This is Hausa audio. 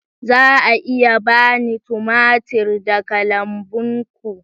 Za a iya ba ni tumatir daga lambun ku?